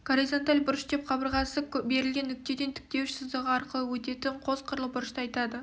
горизонталь бұрыш деп қабырғасы берілген нүктеден тіктеуіш сызығы арқылы өтетін қос қырлы бұрышты айтады